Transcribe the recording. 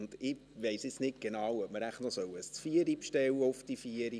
Jetzt weiss ich nicht genau, ob ich vielleicht noch ein Zvieri bestellen soll für 16 Uhr.